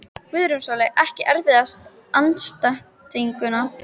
Guðrún Sóley Ekki erfiðasti andstæðingur?